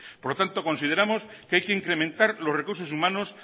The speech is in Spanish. por lo tanto consideramos que hay que incrementar los recursos humanos